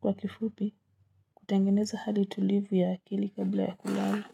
Kwa kifupi kutengeneza hadi tulivu ya akili kabla ya kulala.